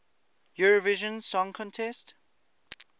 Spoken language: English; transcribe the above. eurovision song contest